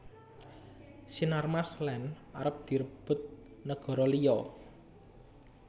Sinarmas Land arep direbut negoro liyo